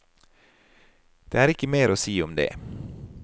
Det er ikke mer å si om det.